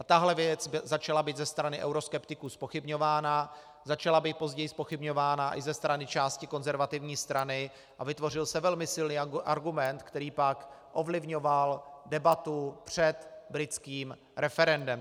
A tahle věc začala být ze strany euroskeptiků zpochybňována, začala být později zpochybňována i ze strany části Konzervativní strany a vytvořil se velmi silný argument, který pak ovlivňoval debatu před britským referendem.